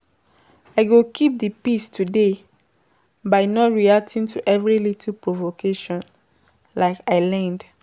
I go keep di peace today by not reacting to every little provocation, like I learned.